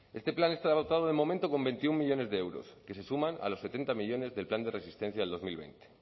este plan está dotado de momento con veintiuno millónes de euros que se suman a los setenta millónes del plan de resistencia del dos mil veinte